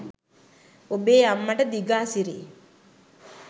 ඔබේ අම්මට දිගාසිරි